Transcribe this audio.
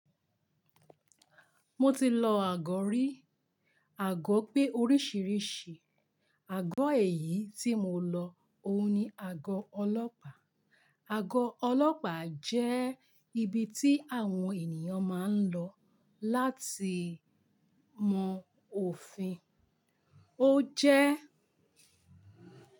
Mo ti lọ àgọ́ rí. Àgọ́ pé oríṣiríṣi. Àgọ́ èyí tí mo lọ òun ni àgọ́ ọlọ́pàá. Àgọ́ ọlọ́pàá jẹ́ ibi tí àwọn ènìyàn máa ń lọ láti mọ òfin. Ó jẹ́